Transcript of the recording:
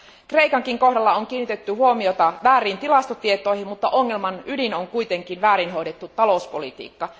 Kreikankin kohdalla on kiinnitetty huomiota vääriin tilastotietoihin, mutta ongelman ydin on kuitenkin väärin hoidettu talouspolitiikka.